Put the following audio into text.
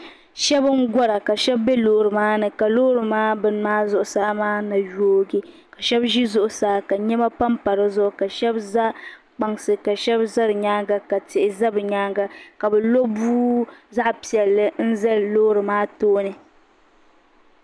Shɛbi n -gɔra ka shɛbi be loori maani ka loori maa beni maa zuɣu saa maa yoogi ka shɛbi ʒi zuɣu saa ka nɛma pam pa di zuɣu ka shɛbi za kpansi ka shɛbi za di nyaaŋa ka tihi za bɛ nyaaŋa ka bɛ lo bua zaɣ'piɛlli n zali loori maa tooni.